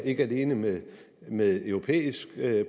ikke alene med med europæisk